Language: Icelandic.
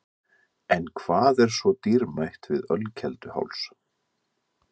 En hvað er svo dýrmætt við Ölkelduháls?